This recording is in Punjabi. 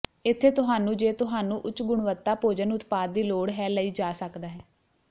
ਇੱਥੇ ਤੁਹਾਨੂੰ ਜੇ ਤੁਹਾਨੂੰ ਉੱਚ ਗੁਣਵੱਤਾ ਭੋਜਨ ਉਤਪਾਦ ਦੀ ਲੋੜ ਹੈ ਲਈ ਜਾ ਸਕਦਾ ਹੈ